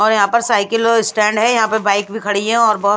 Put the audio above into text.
और यहां पर साइकिल औ स्टैंड है यहां पर बाइक भी खड़ी है और ब--